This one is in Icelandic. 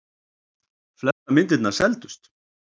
Flestar myndirnar seldust.